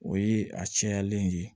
O ye a cayalen ye